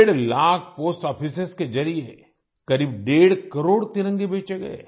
डेढ़ लाख पोस्ट आफिसों के जरिए करीब डेढ़ करोड़ तिरंगे बेचे गए